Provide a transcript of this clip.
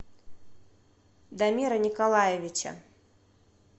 дамира николаевича